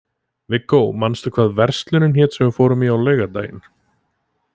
Viggó, manstu hvað verslunin hét sem við fórum í á laugardaginn?